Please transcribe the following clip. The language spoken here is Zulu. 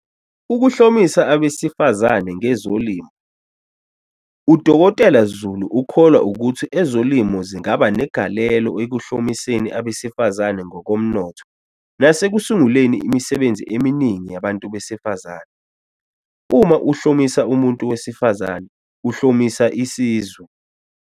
Ukuhlomisa abesifazane ngezolimo. U-Dkt Zulu ukholwa ukuthi ezolimo zingaba negalelo ekuhlomiseni abesifazane ngokomnotho nasekusunguleni imisebenzi eminingi yabantu besifazane. "Uma uhlomisa umuntu wesifazane, uhlomisa isizwe."